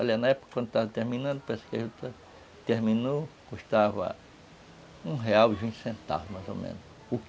Olha, na época, quando estava terminando, que a juta terminou, custava um real e vinte centavos, mais ou menos